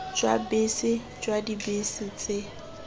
jwa bese jwa dibese tse